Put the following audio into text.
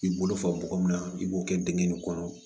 K'i bolo faga min na i b'o kɛ dingɛn nin kɔnɔ